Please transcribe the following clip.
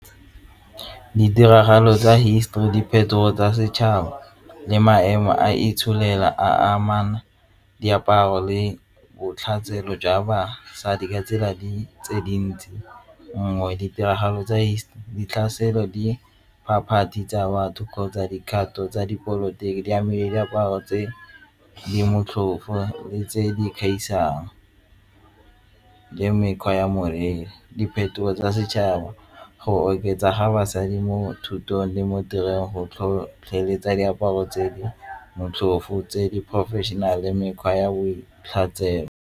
Ditiragalo tsa hisetori, diphetogo tsa setšhaba le maemo a itsholelo ya amana diaparo le jwa basadi ka tsela tse dintsi tsa batho kgotsa dikgato tsa dipolotiki di amile diaparo tse di motlhofo le tse di gaisang le mekgwa ya moriri. Diphetogo tsa setšhaba go oketsa ga basadi mo thutong le mo tirong go tlhotlheletsa diaparo tse di motlhofo tse di-professional-e le mekgwa ya .